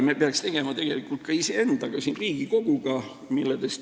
Me peaks tegema tegelikult midagi ka iseendaga siin, Riigikoguga.